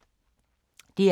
DR K